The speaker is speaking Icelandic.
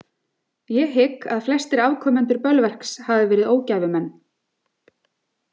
Ég hygg að flestir afkomendur Bölverks hafi verið ógæfumenn.